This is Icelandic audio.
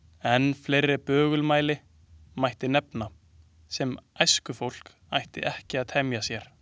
Enn fleiri bögumæli mætti nefna, sem æskufólk ætti ekki að temja sér.